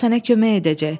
O sənə kömək edəcək.